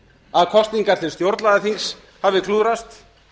að kosningar til stjórnlagaþings hafi klúðrast